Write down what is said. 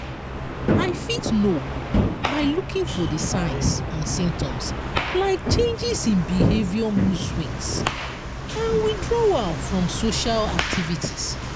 i fit know by looking for di signs and symptoms like changes in behavior moodswings and withdrawal from social activities.